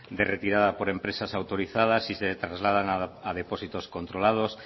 de retirada por empresas autorizadas y se trasladan a depósitos controlados